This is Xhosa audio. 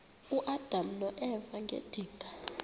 uadam noeva ngedinga